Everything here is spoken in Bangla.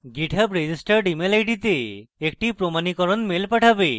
github আমাদের registered email id তে একটি প্রমাণীকরণ mail পাঠাবে